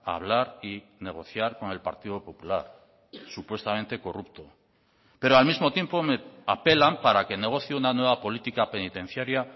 hablar y negociar con el partido popular supuestamente corrupto pero al mismo tiempo me apelan para que negocie una nueva política penitenciaria